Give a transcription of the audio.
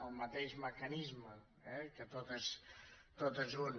el mateix mecanisme que tot és un